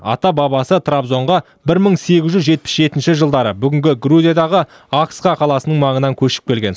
ата бабасы трабзонға бір мың сегіз жүз жетпіс жетінші жылдары бүгінгі грузиядағы ахыска қаласының маңынан көшіп келген